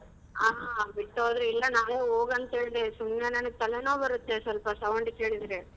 ಹಾ ಬಿಟ್ಟು ಹೋದ್ರು ಇಲ್ಲ ನಾನೆ ಹೋಗಾಂತ್ ಹೇಳ್ದೆ ಸುಮ್ನೆ ನನಗ್ ತಲೆನೋವ್ ಬರುತ್ತೆ ಸ್ವಲ್ಪ sound ಕೇಳಿದ್ರೆ.